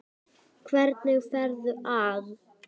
Hvernig ferðu að?